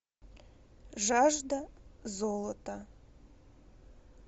жажда золота